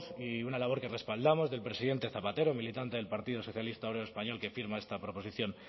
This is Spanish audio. y una labor que respaldamos del presidente zapatero militante del partido socialista obrero español que firma esta proposición